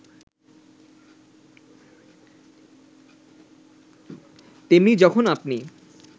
তেমনি যখন আপনি